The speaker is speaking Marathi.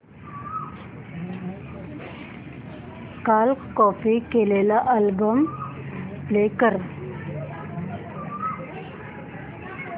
काल कॉपी केलेला नवीन अल्बम प्ले कर